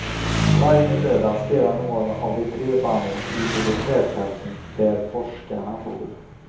Varje lördag spelar något av de tre banden i militärtälten där forskarna bor.